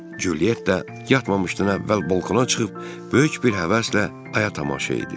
Cülyetta yatmamışdan əvvəl balkona çıxıb böyük bir həvəslə aya tamaşa edir.